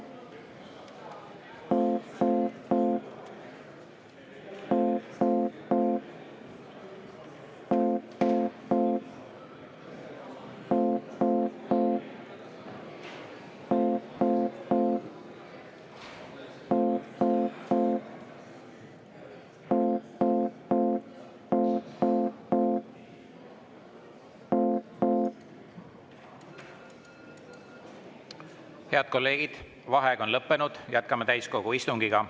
Head kolleegid, vaheaeg on lõppenud, jätkame täiskogu istungit.